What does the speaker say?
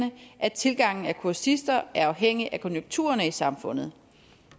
at tilgangen af kursister er afhængig af konjunkturerne i samfundet